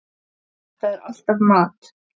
Þetta er alltaf mat.